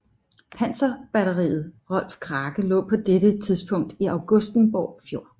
Panserbatteriet Rolf Krake lå på dette tidspunkt i Augustenborg Fjord